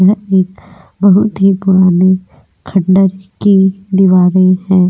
यह एक बहुत ही पुराने खंडर की दीवारें हैं.